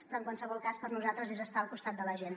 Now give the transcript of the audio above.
però en qualsevol cas per nosaltres és estar al costat de la gent